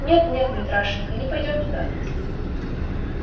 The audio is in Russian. нет нет митрашенька не пойдём туда